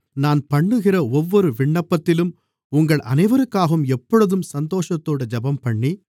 நான் பண்ணுகிற ஒவ்வொரு விண்ணப்பத்திலும் உங்கள் அனைவருக்காகவும் எப்பொழுதும் சந்தோஷத்தோடு ஜெபம்பண்ணி